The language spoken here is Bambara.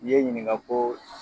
I ye n ɲininka ko